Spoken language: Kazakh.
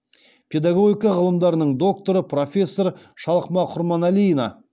педагогика ғылымдарының докторы профессор шалқыма құрманалина